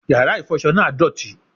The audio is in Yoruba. Yàrá ìfọṣọ náà dọ̀tí